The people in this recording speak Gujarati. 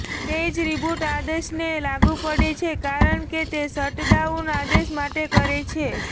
તે જ રીબૂટ આદેશને લાગુ પડે છે કારણ કે તે શટડાઉન આદેશ માટે કરે છે